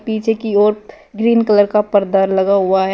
पीछे की ओर ग्रीन कलर का पर्दा लगा हुआ है।